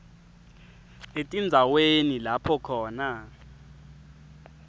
etindzaweni lapho khona